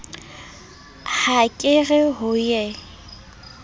ha ke re ho ye